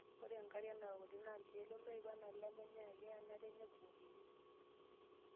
Ore nkariak naaokuni naa irkiek loloip enaa lemenyay ake enare nebukokini.